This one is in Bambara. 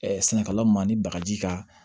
sɛnɛkɛla ma ni bagaji ka